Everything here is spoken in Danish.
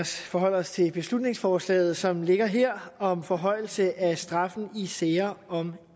forholde os til beslutningsforslaget som ligger her om forhøjelse af straffen i sager om